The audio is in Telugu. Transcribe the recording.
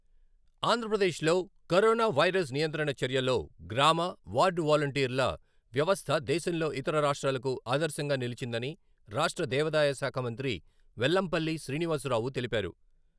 ఆంధ్రప్రదేశ్లో కరోనా వైరస్ నియంత్రణ చర్యల్లో గ్రామ, వార్డు వాలంటీర్ల వ్యవస్థ దేశంలో ఇతర రాష్ట్రాలకు ఆదర్శంగా నిలిచిందని రాష్ట్ర దేవదాయ శాఖ మంత్రి వెల్లంపల్లి శ్రీనివాసరావు తెలిపారు.